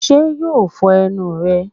Sé yóò fo enu rè?